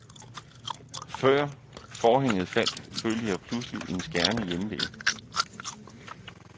Før forhænget faldt, følte jeg pludselig en skærende hjemve.